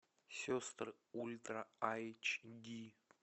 сестры ультра айч ди